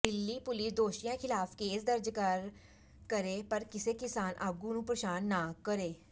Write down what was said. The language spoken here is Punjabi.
ਦਿੱਲੀ ਪੁਲਿਸ ਦੋਸ਼ੀਆਂ ਖਿਲਾਫ ਕੇਸ ਦਰਜ ਕਰੇ ਪਰ ਕਿਸੇ ਕਿਸਾਨ ਆਗੂ ਨੂੰ ਪ੍ਰੇਸ਼ਾਨ ਨਾ ਕਰੇ